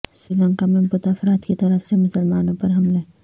سری لنکا میں بودھ افراد کی طرف سے مسلمانوں پر حملے